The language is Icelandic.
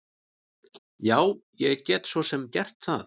Já, ég get svo sem gert það.